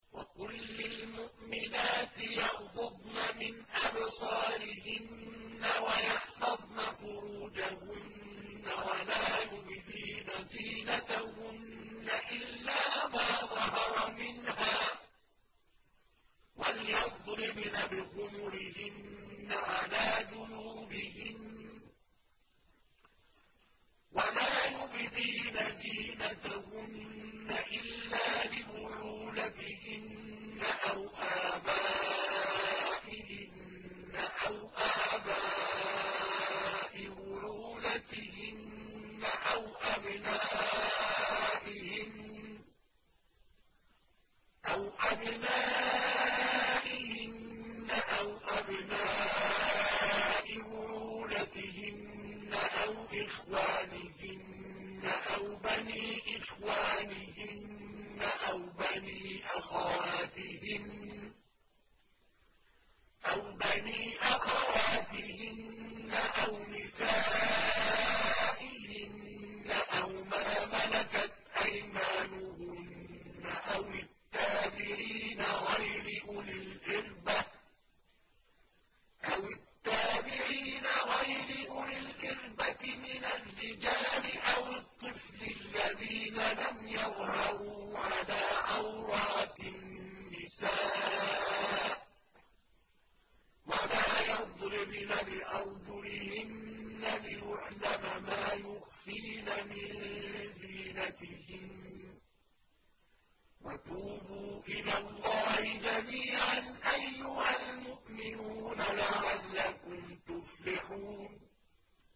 وَقُل لِّلْمُؤْمِنَاتِ يَغْضُضْنَ مِنْ أَبْصَارِهِنَّ وَيَحْفَظْنَ فُرُوجَهُنَّ وَلَا يُبْدِينَ زِينَتَهُنَّ إِلَّا مَا ظَهَرَ مِنْهَا ۖ وَلْيَضْرِبْنَ بِخُمُرِهِنَّ عَلَىٰ جُيُوبِهِنَّ ۖ وَلَا يُبْدِينَ زِينَتَهُنَّ إِلَّا لِبُعُولَتِهِنَّ أَوْ آبَائِهِنَّ أَوْ آبَاءِ بُعُولَتِهِنَّ أَوْ أَبْنَائِهِنَّ أَوْ أَبْنَاءِ بُعُولَتِهِنَّ أَوْ إِخْوَانِهِنَّ أَوْ بَنِي إِخْوَانِهِنَّ أَوْ بَنِي أَخَوَاتِهِنَّ أَوْ نِسَائِهِنَّ أَوْ مَا مَلَكَتْ أَيْمَانُهُنَّ أَوِ التَّابِعِينَ غَيْرِ أُولِي الْإِرْبَةِ مِنَ الرِّجَالِ أَوِ الطِّفْلِ الَّذِينَ لَمْ يَظْهَرُوا عَلَىٰ عَوْرَاتِ النِّسَاءِ ۖ وَلَا يَضْرِبْنَ بِأَرْجُلِهِنَّ لِيُعْلَمَ مَا يُخْفِينَ مِن زِينَتِهِنَّ ۚ وَتُوبُوا إِلَى اللَّهِ جَمِيعًا أَيُّهَ الْمُؤْمِنُونَ لَعَلَّكُمْ تُفْلِحُونَ